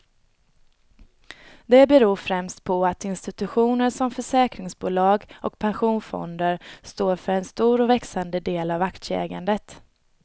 Det beror främst på att institutioner som försäkringsbolag och pensionsfonder står för en stor och växande del av aktieägandet.